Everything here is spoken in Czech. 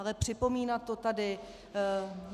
Ale připomínat to tady...